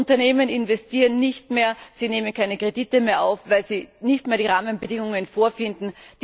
Die Unternehmen investieren nicht mehr, sie nehmen keine Kredite mehr auf, weil sie nicht mehr die Rahmenbedingungen vorfinden.